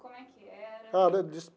Como é que era? Olha dos.